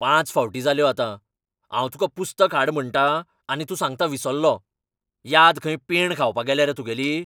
पांच फावटी जाल्यो आतां. हांव तुका पुस्तक हाड म्हणटां, आनी तूं सांगता विसल्लों. याद खंय पेंड खावपा गेल्या रे तुगेली?